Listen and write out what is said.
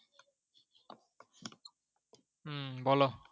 হম বলো।